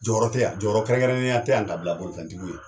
Jɔyɔrɔ tɛ yan jɔyɔrɔkɛrɛnnenya tɛ yan ka bila bolofɛntigiw ye